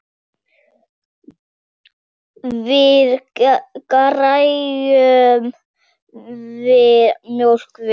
Við gerðum það mjög vel.